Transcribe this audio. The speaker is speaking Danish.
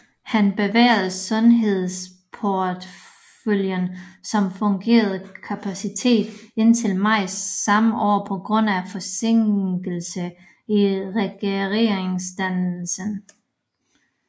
Han bevarede sundhedsporteføljen som fungerende kapacitet indtil maj samme år på grund af forsinkelse i regeringsdannelsen